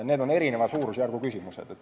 Need on erineva suurusjärgu küsimused.